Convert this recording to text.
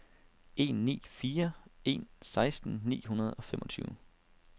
en ni fire en seksten ni hundrede og femogtyve